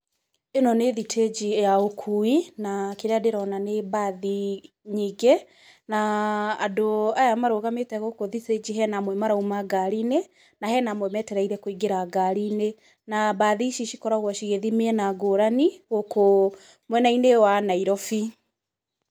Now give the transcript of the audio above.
Ĩno nĩ thitĩnji ya ũkuui na kĩrĩa ndĩrona nĩ mbathi nyingĩ, na andũ aya marũgamĩte gũkũ thitĩnji hena amwe marauma ngari-inĩ, na hena amwe metereire kũingĩra ngari-inĩ, na mbathi ici cikoragwo cigĩthiĩ mĩena ngũrani gũkũ mwena-inĩ wa Nairobi.